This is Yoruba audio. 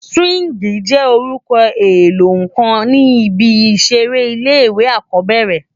Sìwíngì jé óoún éló kán ni ibi iṣèré ilé iwé ákòbèrè